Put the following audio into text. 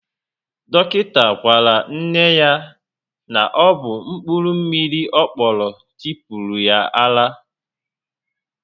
Dọkịta gwara nne ya na ọ bụ mkpụrụ mmiri ọ kpọrọ tipuru ya ara